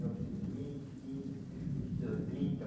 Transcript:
mil novecentos e vinte, quinze, trinta